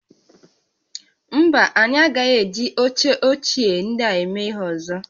Mba, anyị agaghị eji oche ochie ndịa eme ihe ọzọ